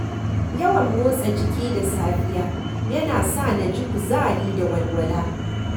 Yawan motsa jiki da safiya yana sa na ji kuzari da walwala.